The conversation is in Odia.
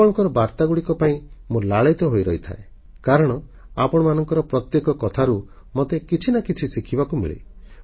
ଆପଣଙ୍କ ବାର୍ତ୍ତାଗୁଡ଼ିକ ପାଇଁ ମୁଁ ଉତ୍ସୁକତାର ସହ ଅପେକ୍ଷା କରି ରହିଥାଏ କାରଣ ଆପଣଙ୍କ ପ୍ରତ୍ୟେକ କଥାରୁ ମୋତେ କିଛି ନା କିଛି ଶିଖିବାକୁ ମିଳେ